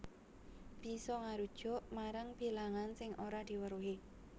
Bisa ngarujuk marang bilangan sing ora diweruhi